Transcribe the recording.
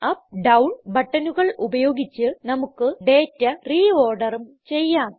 up down ബട്ടണുകൾ ഉപയോഗിച്ച് നമുക്ക് ഡേറ്റ re orderഉം ചെയ്യാം